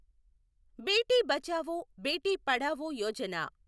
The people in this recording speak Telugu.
బేటి బచావో, బేటి పడావో యోజన